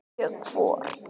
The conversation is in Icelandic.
Sjö hvor.